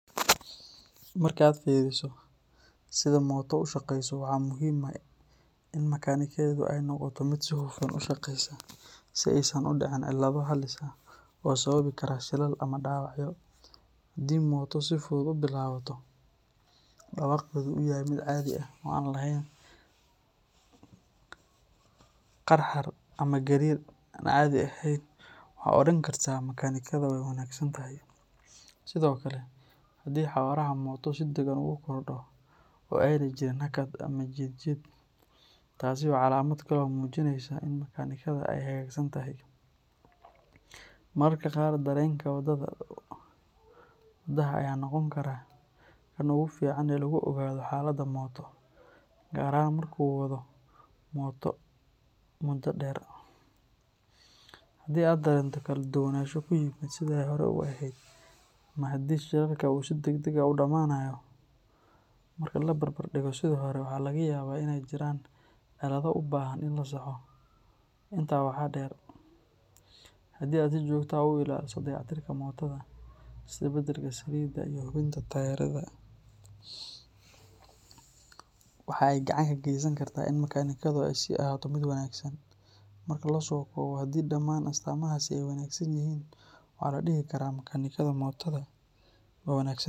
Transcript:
Marka aad fiiriso sida mooto u shaqayso, waxa muhiim ah in makaanikadeedu ay noqoto mid si hufan u shaqaysa, si aysan u dhicin cilado halis ah oo sababi kara shilal ama dhaawacyo. Haddii mooto si fudud u bilaabato, dhawaaqeeduna uu yahay mid caadi ah oo aan lahayn qarxar ama gariir aan caadi ahayn, waxaad odhan kartaa makaanikada waa wanaagsan tahay. Sidoo kale, haddii xawaaraha mooto si deggan ugu kordho oo aanay jirin hakad ama jiid jiid, taasi waa calaamad kale oo muujinaysa in makaanikada ay hagaagsan tahay. Mararka qaar, dareenka wadaha ayaa noqon kara kan ugu fiican ee lagu ogaado xaaladda mooto, gaar ahaan marka uu wado mooto muddo dheer. Haddii aad dareento kala duwanaansho ku yimid sidii ay hore u ahayd ama haddii shidaalka uu si degdeg ah u dhammaanayo marka la barbar dhigo sidii hore, waxaa laga yaabaa in ay jiraan cilado u baahan in la saxo. Intaa waxaa dheer, haddii aad si joogto ah u ilaaliso dayactirka mootoada, sida beddelka saliidda iyo hubinta taayirrada, waxa ay gacan ka geysan kartaa in makaanikadu ay sii ahaato mid wanaagsan. Marka la soo koobo, haddii dhammaan astaamahaasi ay wanaagsan yihiin, waxaa la dhihi karaa makaanikada mootoada waa wanaagsan.